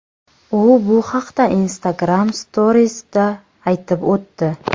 U bu haqda Instagram Stories’da aytib o‘tdi.